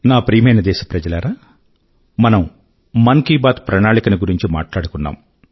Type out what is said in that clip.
నా ప్రియమైన దేశప్రజలారా మనం మన్ కీ బాత్ ప్రణాళిక ను గురించి మాట్లాడుకున్నాం